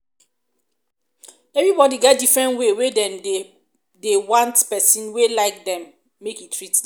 everybody get different way wey dem want pesin wey like dem make e treat dem